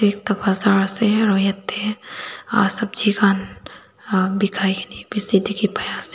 etu baazer ase aru jatte sabji khan bekhai kina bisi dekhi pai ase.